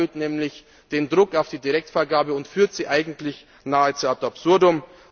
Das erhöht nämlich den Druck auf die Direktvergabe und führt diese eigentlich nahezu ad absurdum.